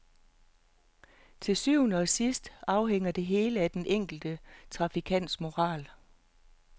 Til syvende og sidst afhænger det hele af den enkelte trafikants moral.